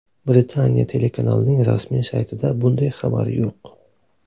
Britaniya telekanalining rasmiy saytida bunday xabar yo‘q.